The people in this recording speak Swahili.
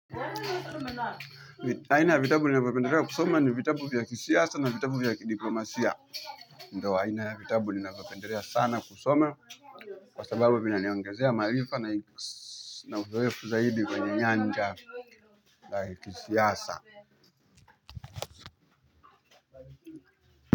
Aina ya vitabu ninavyopendelea kusoma ni vitabu vya kisiasa na vitabu vya kidiplomasia. Ndio, aina ya vitabu ninavyopendelea sana kusoma kwa sababu vinaniongezea maarifa na uzoefu zaidi kwenye nyanja la kisiasa.